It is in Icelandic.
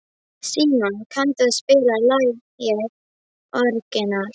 Símon, kanntu að spila lagið „Orginal“?